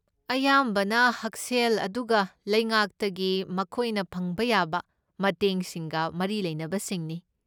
ꯑꯌꯥꯝꯕꯅ ꯍꯛꯁꯦꯜ ꯑꯗꯨꯒ ꯂꯩꯉꯥꯛꯇꯒꯤ ꯃꯈꯣꯏꯅ ꯐꯪꯕ ꯌꯥꯕ ꯃꯇꯦꯡ ꯁꯤꯡꯒ ꯃꯔꯤ ꯂꯩꯅꯕꯁꯤꯡꯅꯤ꯫